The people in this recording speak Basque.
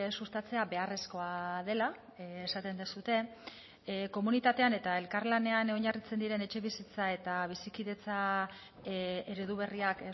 sustatzea beharrezkoa dela esaten duzue komunitatean eta elkarlanean oinarritzen diren etxebizitza eta bizikidetza eredu berriak